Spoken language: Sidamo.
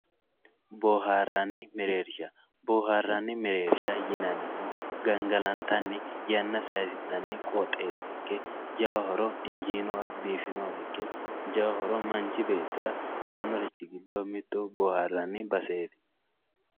boohaarranni mereershsha boohaarranni mereersha yinannihu gangalantanni ynna sayiisi'nani qooxeessa ikki biifinowa ikke jawa horo aannorichi giddo mittu boohaarranni baseeti.